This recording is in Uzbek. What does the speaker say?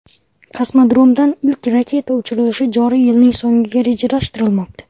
Kosmodromdan ilk raketa uchirilishi joriy yilning so‘ngiga rejalashtirilmoqda.